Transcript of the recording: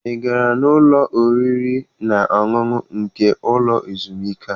Ị gara n'ụlọ oriri na ọṅụṅụ nke ụlọ ezumike a?